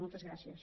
moltes gràcies